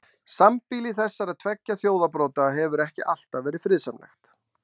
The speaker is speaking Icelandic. Sambýli þessara tveggja þjóðarbrota hefur ekki alltaf verið friðsamlegt.